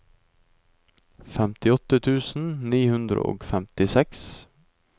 femtiåtte tusen ni hundre og femtiseks